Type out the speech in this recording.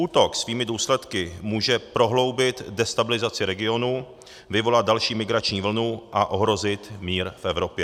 Útok svými důsledky může prohloubit destabilizaci regionů, vyvolat další migrační vlnu a ohrozit mír v Evropě.